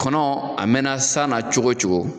Kɔnɔ a mɛnna san na cogo cogo